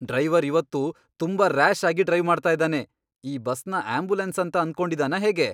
Driver ಇವತ್ತು ತುಂಬಾ rash ಆಗಿ ಡ್ರೈವ್ ಮಾಡ್ತಾ ಇದಾನೆ. ಈ ಬಸ್ನ ಆಂಬ್ಯುಲೆನ್ಸ್ ಅಂತ ಅನ್ಕೊಂಡಿದಾನಾ ಹೇಗೆ?